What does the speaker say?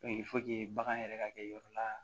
bagan yɛrɛ ka kɛ yɔrɔ la